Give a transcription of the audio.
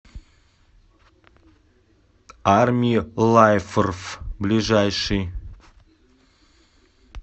армилайфрф ближайший